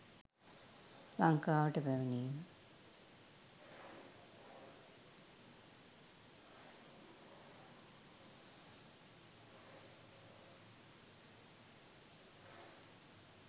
ලංකාවට පැමිණීම